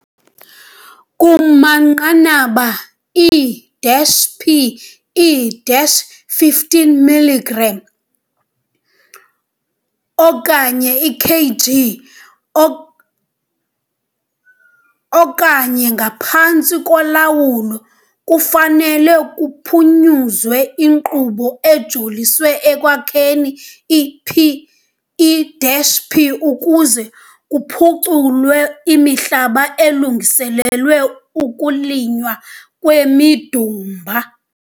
Kumanqanaba e-P e-15 mg okanye i-kg o okanye angaphantsi kulawo, kufanele ukuphunyezwa inkqubo ejoliswe ekwakheni i-P i-P, ukuze kuphuculwe imihlaba elungiselelwe ukulinywa kwemidumba.